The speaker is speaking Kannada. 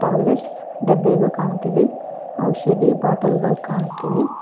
ಟ್ಯಾಬ್ಲೇಟ್ಸ್ ಡಬ್ಬಿಗಳು ಕಾಣುತ್ತಿದೆ ಔಷಧಿ ಬಾಟಲ್ ಗಳು ಕಾಣುತ್ತಿವೆ.